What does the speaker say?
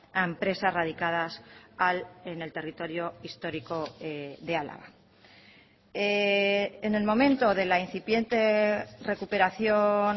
a empresas radicadas en el territorio histórico de álava en el momento de la incipiente recuperación